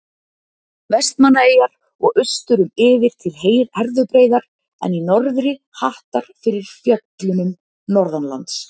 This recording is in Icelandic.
Vestmannaeyjar og austur um yfir til Herðubreiðar en í norðri hattar fyrir fjöllunum Norðanlands.